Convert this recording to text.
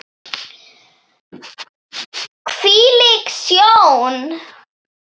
Hvílík sjón!